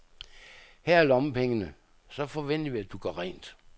Her er lommepengene, så forventer vi, at du gør rent.